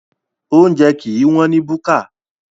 Oúnjẹ kìí wọ́n ní búkà.